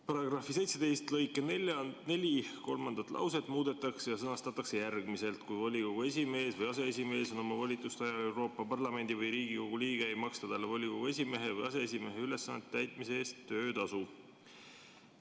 " Paragrahvi 17 lõike 4 kolmas lause muudetakse ja sõnastatakse järgmiselt: "Kui volikogu esimees või aseesimees on oma volituste ajal Euroopa Parlamendi või Riigikogu liige, ei maksta talle volikogu esimehe või aseesimehe ülesannete täitmise eest töötasu.